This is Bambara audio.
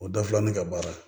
O dafila ne ka baara